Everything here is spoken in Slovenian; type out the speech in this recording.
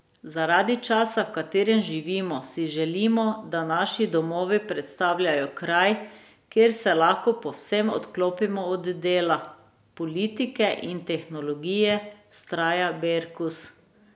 Zaradi časa, v katerem živimo, si želimo, da naši domovi predstavljajo kraj, kjer se lahko povsem odklopimo od dela, politike in tehnologije, vztraja Berkus.